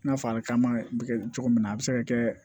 I n'a fɔ a bɛ kaman bɛ kɛ cogo min na a bɛ se ka kɛ